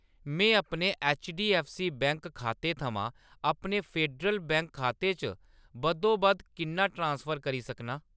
में अपने HDFC bank खाते थमां अपने फेडरल बैंक खाते च बद्धोबद्ध किन्ना ट्रांसफर करी सकनां ?